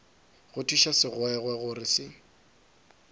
go thuša segwegwe gore se